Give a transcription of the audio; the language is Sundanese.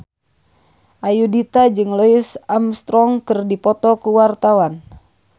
Ayudhita jeung Louis Armstrong keur dipoto ku wartawan